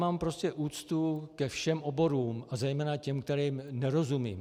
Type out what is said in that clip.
Mám prostě úctu ke všem oborům a zejména těm, kterým nerozumím.